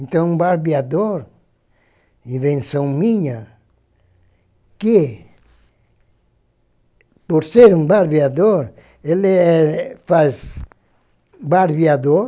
Então um barbeador, invenção minha, que, por ser um barbeador, ele é faz barbeador,